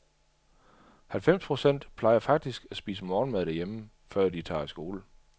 Halvfems procent plejer faktisk at spise morgenmad hjemme, før de tager i skole.